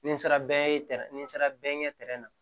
Ni n sera bɛɛ ye ni n sera bɛɛ ɲɛ na